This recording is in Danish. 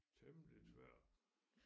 Temmelig tvær